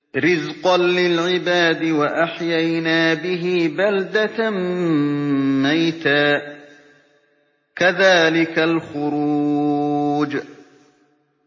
رِّزْقًا لِّلْعِبَادِ ۖ وَأَحْيَيْنَا بِهِ بَلْدَةً مَّيْتًا ۚ كَذَٰلِكَ الْخُرُوجُ